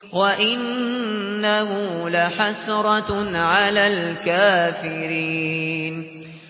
وَإِنَّهُ لَحَسْرَةٌ عَلَى الْكَافِرِينَ